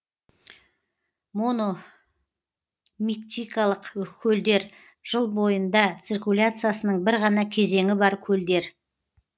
мономиктикалық көлдер жыл бойында циркуляциясының бір ғана кезеңі бар көлдер